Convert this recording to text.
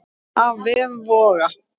Af vef Voga